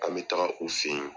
An be taga u fe yen.